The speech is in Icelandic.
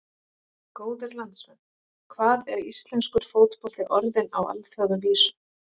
Góðir landsmenn, hvað er íslenskur fótbolti orðinn á alþjóðavísu?